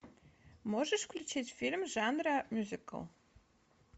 можешь включить фильм жанра мюзикл